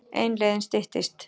En leiðin styttist.